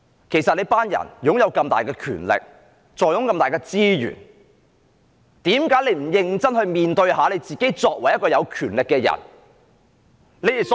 其實，這些人擁有這麼大的權力，坐擁這麼多的資源，為何不認真面對自己作為有權力的人應有的責任？